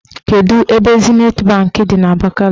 Kedu ebe Zinet banki dị n'Abakaliki?